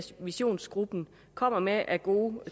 visionsgruppen kommer med af gode